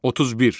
31.